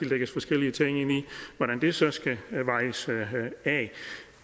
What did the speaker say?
lægges forskellige ting ind i hvordan det så skal vejes af